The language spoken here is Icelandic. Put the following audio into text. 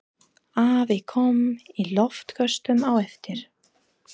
Afi kom í loftköstum á eftir.